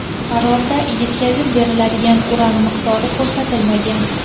Qarorda yetkazib beriladigan uran miqdori ko‘rsatilmagan.